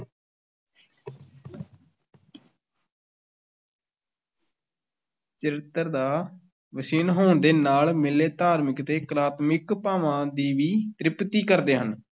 ਚਰਿੱਤਰ ਦਾ ਹੋਣ ਦੇ ਨਾਲ, ਮੇਲੇ ਧਾਰਮਿਕ ਤੇ ਕਲਾਤਮਿਕ ਭਾਵਾਂ ਦੀ ਵੀ ਤ੍ਰਿਪਤੀ ਕਰਦੇ ਹਨ।